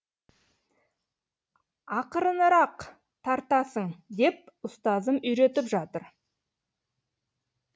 ақырынырақ тартасың деп ұстазым үйретіп жатыр